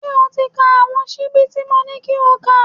Ṣé o ti ka àwọn ṣíbí tí mo ní kí o kà?.